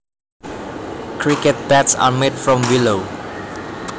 Cricket bats are made from willow